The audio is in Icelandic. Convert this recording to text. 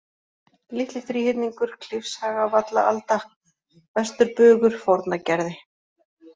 Litli-Þríhyrningur, Klifshagavallaalda, Vesturbugur, Fornagerði